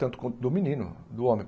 tanto quanto do menino, do homem.